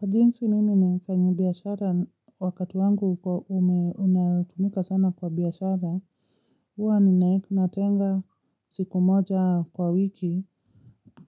Kwa jinsi mimi ni mfanyibiashara wakati wangu unatumika sana kwa biashara, huwa ninatenga siku moja kwa wiki